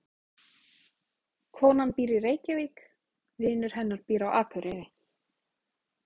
Konan býr í Reykjavík. Vinur hennar býr á Akureyri.